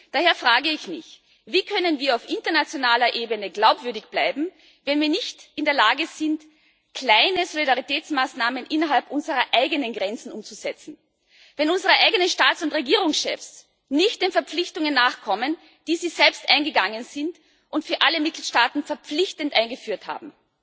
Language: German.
Daher frage ich mich Wie können wir auf internationaler Ebene glaubwürdig bleiben, wenn wir nicht in der Lage sind, kleine Solidaritätsmaßnahmen innerhalb unserer eigenen Grenzen umzusetzen, wenn unsere eigenen Staats und Regierungschefs nicht den Verpflichtungen nachkommen, die sie selbst eingegangen sind und die sie für alle Mitgliedstaaten verpflichtend eingeführt haben?